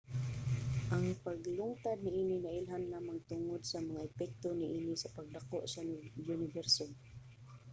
ang paglungtad niini nailhan lamang tungod sa mga epekto niini sa pagdako sa uniberso